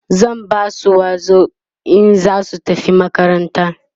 zan Basu wazo in zasu tafi makaranta